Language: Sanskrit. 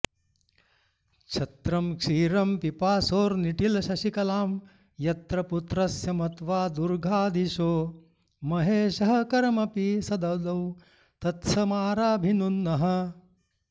छत्रं क्षीरं पिपासोर्निटिलशशिकलां यत्र पुत्रस्य मत्वा दुर्गाधीशो महेशः करमपि स ददौ तत्स्थमाराभिनुन्नः